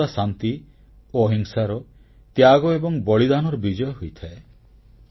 ସର୍ବଦା ଶାନ୍ତି ଓ ଅହିଂସାର ତ୍ୟାଗ ଏବଂ ବଳିଦାନର ବିଜୟ ହୋଇଥାଏ